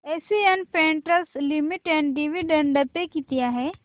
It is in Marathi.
एशियन पेंट्स लिमिटेड डिविडंड पे किती आहे